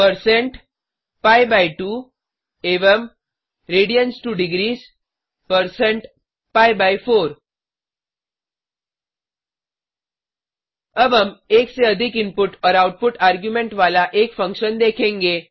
percent पी2 पी2 एवं radians2डिग्रीस परसेंट पी बाय 4 पी4 अब हम एक से अधिक इनपुट और आउटपुट आर्ग्युमेंट वाला एक फंक्शन देखेंगे